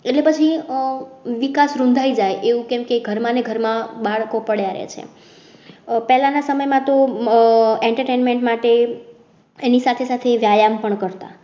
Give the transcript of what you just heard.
એટલે પછી વિકાસ રુંધાઈ જાય એવું કેમ કે ઘરમાં ને ઘરમાં બાળકો પડ્યા રહે છે. પેલાના સમય માં તો આહ entertainment માટે એની સાથે સાથે વ્યાયામ પણ કરતા